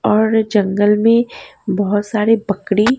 और जंगल में बहुत सारे बकरी--